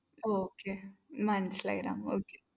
okay മനസ്സിലായി Ram okay